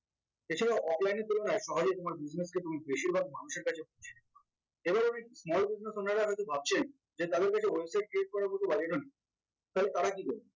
এছাড়াও offline এর তুলনায় সহজেই তোমার business কে তুমি বেশিরভাগ মানুষের কাছে এবার আমি small business owner রা হয়তো ভাবছেন যে তাদের কাছে website create করার মত budget ও নেই তাহলে তারা কি করবে